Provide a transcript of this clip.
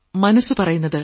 മനസ്സു പറയുന്നത്